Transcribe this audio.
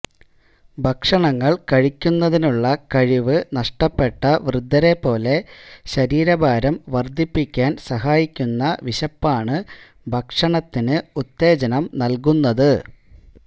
ഭക്ഷണങ്ങൾ കഴിക്കുന്നതിനുള്ള കഴിവ് നഷ്ടപ്പെട്ട വൃദ്ധരെപ്പോലെ ശരീരഭാരം വർദ്ധിപ്പിക്കാൻ സഹായിക്കുന്ന വിശപ്പാണ് ഭക്ഷണത്തിന് ഉത്തേജനം നൽകുന്നത്